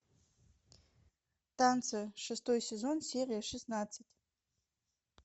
танцы шестой сезон серия шестнадцать